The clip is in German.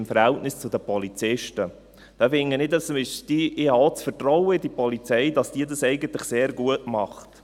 Da habe ich auch das Vertrauen in die Polizei, dass sie das eigentlich sehr gut macht.